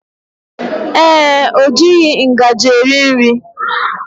Ee, o jighị ngaji eri nri